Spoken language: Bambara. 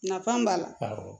Nafan b'a la